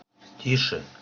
тише